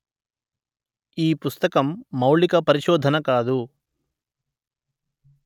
ఈ పుస్తకం మౌలిక పరిశోధన కాదు